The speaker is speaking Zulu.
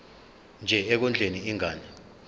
nje ekondleni ingane